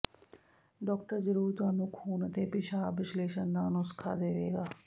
doctor ਜ਼ਰੂਰ ਤੁਹਾਨੂੰ ਖੂਨ ਅਤੇ ਪਿਸ਼ਾਬ ਵਿਸ਼ਲੇਸ਼ਣ ਦਾ ਨੁਸਖ਼ਾ ਦੇਵੇਗਾ